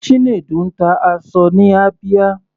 Chinedu ń ta aṣọ ní Abia.